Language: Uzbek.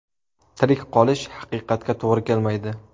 Tirik qolish haqiqatga to‘g‘ri kelmaydi”.